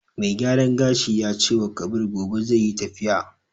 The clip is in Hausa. Mai gyaran gashin ya cewa Kabir gobe zai yi tafiya.